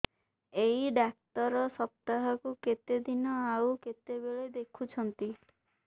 ଏଇ ଡ଼ାକ୍ତର ସପ୍ତାହକୁ କେତେଦିନ ଆଉ କେତେବେଳେ ଦେଖୁଛନ୍ତି